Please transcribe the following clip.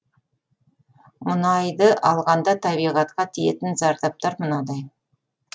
мұнайды алғанда табиғатқа тиетін зардаптар мынадай